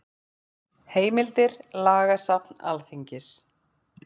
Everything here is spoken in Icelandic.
Heimildir Lagasafn Alþingis.